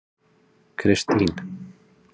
Kristine